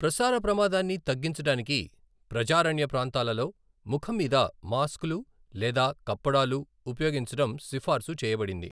ప్రసార ప్రమాదాన్ని తగ్గించడానికి ప్రజారణ్య ప్రాంతాలలో ముఖం మీద మాస్క్లు లేదా కప్పడాలు ఉపయోగించడం సిఫార్సు చేయబడింది.